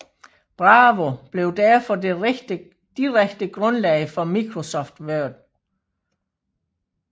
Bravo blev derfor det direkte grundlag for Microsoft Word